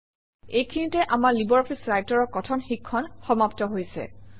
এইখিনিতে আমাৰ LibreOffice Writer অৰ কথন শিক্ষণ সমাপ্ত হৈছে